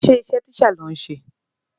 Ṣé iṣẹ́ teacher lò ń ṣe?